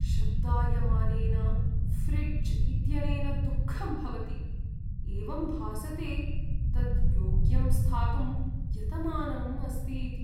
शब्दायमानेन fridge इत्यनेन दुःखं भवति, एवं भासते तत् योग्यं स्थातुं यतमानम् अस्ति इति!